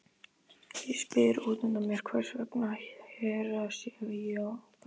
Ég spyr útundan mér hvers vegna Hera sé hjá Garðari.